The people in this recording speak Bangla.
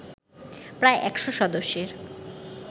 প্রায় একশ সদস্যের